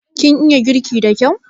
Kin iya girki da kyau?